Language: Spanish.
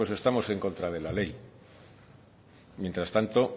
pues estamos en contra de la ley mientras tanto